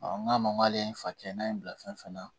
n k'a ma k'ale ye fa kɛ n'a ye n bila fɛn na